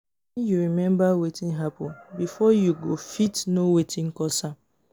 wen yu remmba wetin hapun bifor yu go fit no wetin cause am